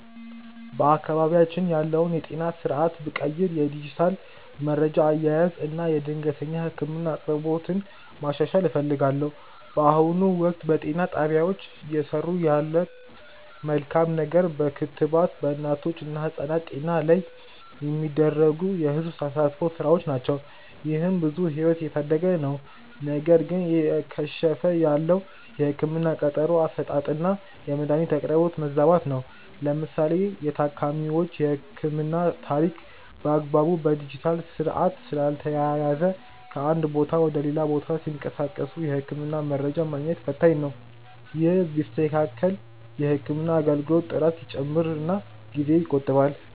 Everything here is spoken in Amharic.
በአካባቢያችን ያለውን የጤና ስርዓት ብቀይር የዲጂታል መረጃ አያያዝን እና የድንገተኛ ህክምና አቅርቦትን ማሻሻል እፈልጋለሁ። በአሁኑ ወቅት፣ በጤና ጣቢያዎች እየሰሩ ያለት መልካም ነገር በክትባት በእናቶች እና ህጻናት ጤና ላይ የሚደረጉ የህዝብ ተሳትፎ ስራዎች ናቸው። ይህም ብዙ ህይወትን እየታደገ ነው። ነገር ግን እየከሸፈ ያለው የህክምና ቀጠሮ አሰጣጥና የመድኃኒት አቅርቦት መዛባት ነው። ለምሳሌ የታካሚዎች የህክምና ታሪክ በአግባቡ በዲጂታል ስርዓት ስላልተያያዘ ከአንድ ቦታ ወደ ሌላ ቦታ ሲንቀሳቀሱ የህክምና መረጃ ማግኘት ፈታኝ ነው። ይህ ቢስተካከል የህክምና አገልግሎት ጥራት ይጨምርና ጊዜ ይቆጥባል።